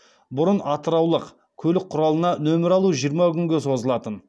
бұрын атыраулық көлік құралына нөмір алу жиырма күнге созылатын